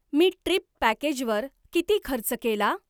मी trip पॅकेजवर किती खर्च केला?